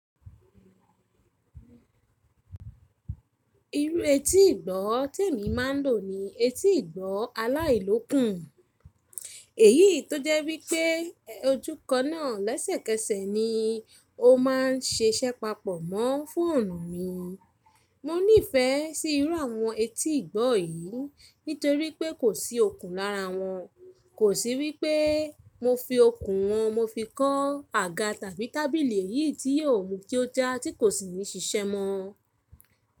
Irú etí ìgbọ́ tí èmi má a lò ni etí ìgbọ́ aláìlókùn. Èyí tó jẹ́ wípẹ́ ojú kaná lẹ́sẹ̀kẹsẹ̀ ni ó má a ń sẹsẹ papọ̀ mọ́ fún ọ̀nà mi. Mo nífẹsí irú àwọn etí ìgbọ́ yìí nítorí pé kò sí okùn lára wọn. Kò sí wípé mo fi okùn wọn mo fi kọ́ àga tàbí tábìlì èyí tí yóò mú kí ó já tí kò sì ní sisẹ́ mọ́.